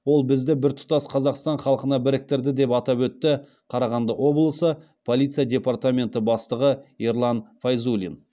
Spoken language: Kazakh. ол бізді біртұтас қазақстан халқына біріктірді деп атап өтті қарағанды облысы полиция департаменті бастығы ерлан файзуллин